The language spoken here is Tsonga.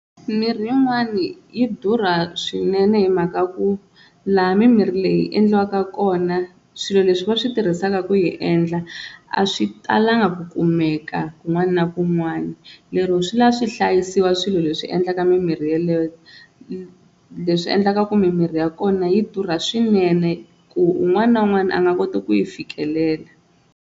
Mimirhi yin'wani yi durha swinene hi mhaka ya ku laha mimirhi leyi endliwaka kona swilo leswi va swi tirhisaka ku yi endla a swi talanga ku kumeka kun'wana na kun'wana, lero swi lava swi hlayisiwa swilo leswi endlaka mimirhi yeleyo leswi endlaka ku mimirhi ya kona yi durha swinene ku un'wana na un'wana a nga koti ku yi fikelela.